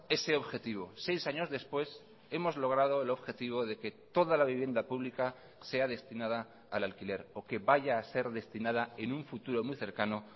ese objetivo seis años después hemos logrado el objetivo de que toda la vivienda pública sea destinada al alquiler o que vaya a ser destinada en un futuro muy cercano